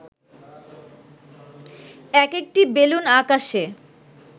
একেকটি বেলুন আকাশে